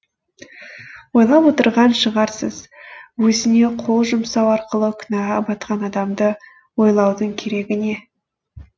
ойлап отырған шығарсыз өзіне қол жұмсау арқылы күнәға батқан адамды ойлаудың керегі не